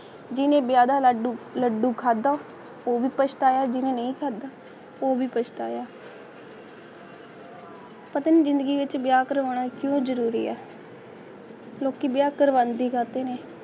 ਜਿਵੇਂ ਵਿਆਹ ਦਾ ਲੱਡੂ ਡੱਡੂ ਖਤਮ ਹੋ ਗਏ ਭਾਈ ਸਾਹਿਬ ਦੀ ਨੀਂਹ ਖੜਾ ਉਹ ਵੀ ਪਛਤਾਇਆ ਪਤਨੀ ਜਿੰਦਗੀ ਵਿੱਚ ਵਿਆਹ ਕਰਵਾਉਣਾ ਕਿਉਂ ਜਰੂਰੀ ਹੈ ਕਿਉਕੀ ਵਿਆਹ ਕਰਵਾਉਣ ਦੀ ਕਾਤੀ ਹੂ